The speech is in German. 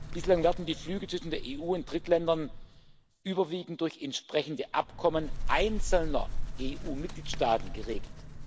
Bislang werden die Flüge zwischen der EU und Drittländern überwiegend durch entsprechende Abkommen einzelner EU-Mitgliedstaaten geregelt.